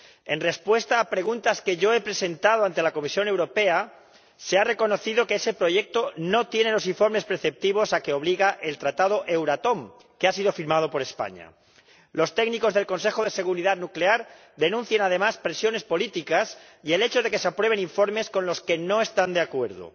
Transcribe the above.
En respuesta a preguntas que yo he presentado ante la Comisión Europea se ha reconocido que ese proyecto no tiene los informes preceptivos a que obliga el Tratado Euratom, que ha sido firmado por España. Los técnicos del Consejo de Seguridad Nuclear denuncian además presiones políticas y el hecho de que se aprueben informes con los que no están de acuerdo.